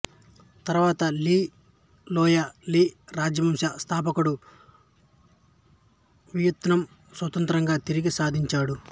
తరువాత Le Loi Le రాజవంశ స్థాపకుడు వియత్నాం స్వాత్రంత్రం తిరిగి సాధించాడు